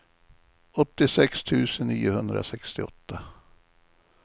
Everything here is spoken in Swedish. åttiosex tusen niohundrasextioåtta